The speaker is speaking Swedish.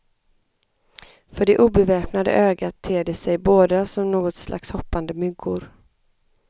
För det obeväpnade ögat ter de sig båda som något slags hoppande myggor.